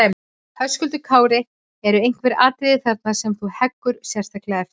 Höskuldur Kári: Eru einhver atriði þarna sem þú heggur sérstaklega eftir?